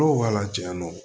Dɔw b'a la diyan nɔ